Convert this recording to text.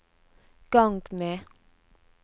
gang med